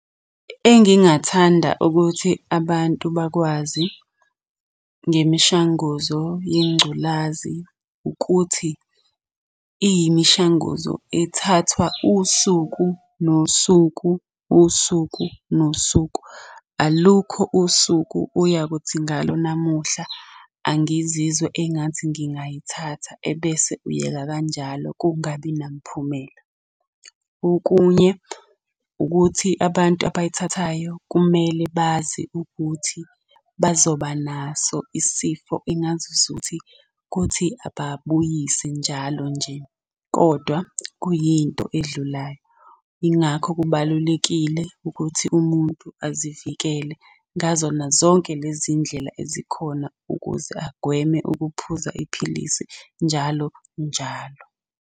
Engingathanda ukuthi abantu bakwazi ngemishanguzo yengculazi ukuthi, iyimishanguzo ethathwa usuku nosuku, usuku nosuku. Alukho usuku oyakuthi ngalo namuhla angizizwa engathi ngingayithatha, ebese uyeka kanjalo kungabi namphumela. Okunye ukuthi abantu abayithathayo kumele bazi ukuthi bazoba naso isifo engazuzuthi kuthi ababuyise njalo nje, kodwa kuyinto edlulayo. Yingakho kubalulekile ukuthi umuntu azivikele ngazona zonke lezi iy'ndlela ezikhona ukuze agweme ukuphuza iphilisi njalo njalo.